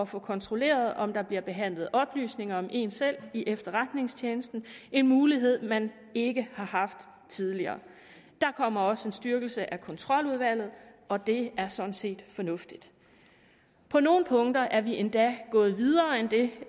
få kontrolleret om der bliver behandlet oplysninger om en selv i efterretningstjenesten en mulighed man ikke har haft tidligere der kommer også en styrkelse af kontroludvalget og det er sådan set fornuftigt på nogle punkter er vi endda gået videre end det